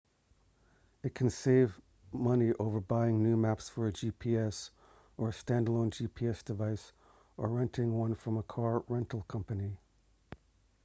it can save money over buying new maps for a gps or a standalone gps device or renting one from a car rental company